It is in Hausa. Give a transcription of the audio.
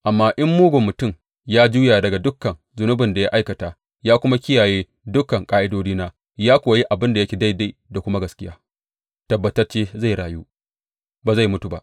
Amma in mugun mutum ya juya daga dukan zunubin da ya aikata ya kuma kiyaye dukan ƙa’idodina ya kuwa yi abin da yake daidai da kuma gaskiya, tabbatacce zai rayu; ba zai mutu ba.